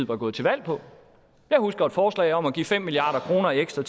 var gået til valg på jeg husker et forslag om at give fem milliard kroner ekstra